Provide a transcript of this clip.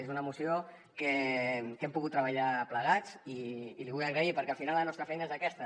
és una moció que hem pogut treballar plegats i l’hi vull agrair perquè al final la nostra feina és aquesta